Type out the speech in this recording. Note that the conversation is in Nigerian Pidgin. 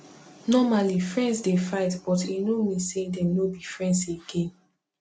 normally friends dey fight but e no mean say dem no be friends again